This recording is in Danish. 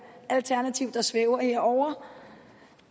alternativ der svæver herovre